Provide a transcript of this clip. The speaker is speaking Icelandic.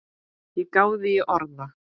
Ég gáði í orða